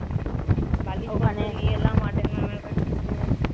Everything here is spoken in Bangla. বালিশ পত্র নিয়ে এলাম মামার কাছ থেকে।